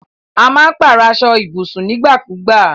A má n pàrọ̀ aso ibùsùn nígbà kùgba